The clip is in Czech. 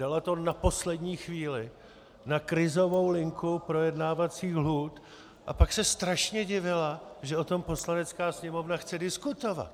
Dala to na poslední chvíli na krizovou linku projednávacích lhůt, a pak se strašně divila, že o tom Poslanecká sněmovna chce diskutovat.